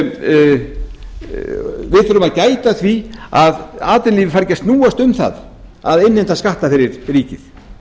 gæta að því að atvinnulífið fari ekki að snúast um það að innheimta skatta fyrir ríkið